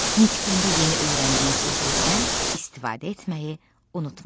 Nitqində yeni öyrəndiyin sözlərdən istifadə etməyi unutma.